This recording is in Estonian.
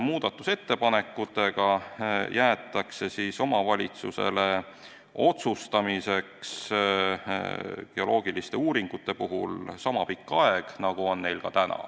Muudatusettepanekutega jäetakse omavalitsusele geoloogiliste uuringute puhul otsustamiseks niisama pikk aeg, nagu on neil ka täna.